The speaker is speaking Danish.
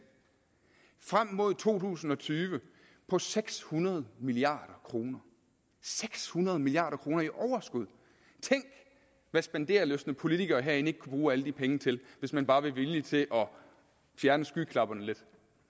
frem mod to tusind og tyve på seks hundrede milliard kroner seks hundrede milliard kroner i overskud tænk hvad spenderlystne politikere herinde ikke kunne bruge alle de penge til hvis man bare var villig til at fjerne skyklapperne lidt